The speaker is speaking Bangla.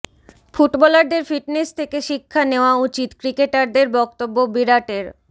ফুটবলারদের ফিটনেস থেকে শিক্ষা নেওয়া উচিত ক্রিকেটারদের বক্তব্য বিরাটের